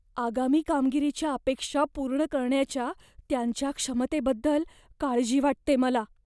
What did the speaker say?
आगामी कामगिरीच्या अपेक्षा पूर्ण करण्याच्या त्यांच्या क्षमतेबद्दल काळजी वाटते मला.